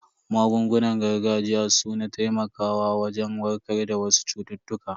Magungunan gargajiya su na taimakawa wajen warkar da wasu cututtuka.